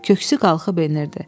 Köksü qalxıb enirdi.